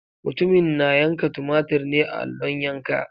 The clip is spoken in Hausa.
Mutumin na yanka tumatir ne a allon yanka.